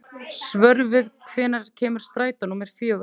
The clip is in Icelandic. Svörfuður, hvenær kemur strætó númer fjögur?